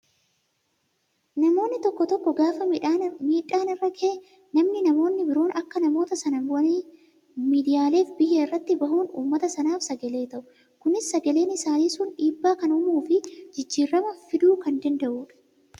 Namoonni tokko tokko gaafa miidhaan irra gahe namni namoonni biroon bakka namoota Sanaa bu'anii miidiyaaleef biyyaa irratti bahuun uummata sanaaf sagalee ta'u. Kunis sagaleen isaanii sun dhiibbaa kan uumuu fi jijjiirama fiduu kan danda'udha.